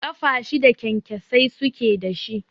Ƙafa shida kyankyasai suke da shi.